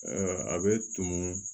a bɛ tumu